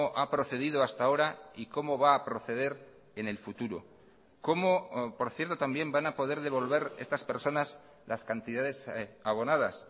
ha procedido hasta ahora y cómo va a proceder en el futuro cómo por cierto también van a poder devolver estas personas las cantidades abonadas